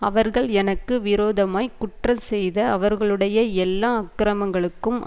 அவர்கள் எனக்கு விரோதமாய்க் குற்றஞ்செய்த அவர்களுடைய எல்லா அக்கிரமங்களுக்கும்